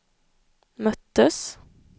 möttes